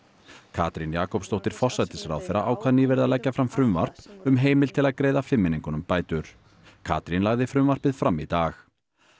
Katrín Jakobsdóttir forsætisráðherra ákvað nýverið að leggja fram frumvarp um heimild til að greiða fimmmenningunum bætur Katrín lagði frumvarpið fram í dag